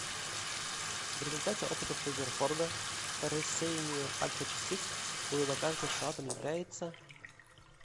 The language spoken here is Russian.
в результате опытов резерфорда по рассеянию альфа частиц было доказано что атом является